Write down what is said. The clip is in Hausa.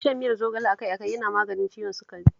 Shan miyar zogale a kai a kai yana maganin ciwon sukari